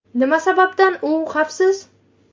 Nima sababdan u xavfsiz?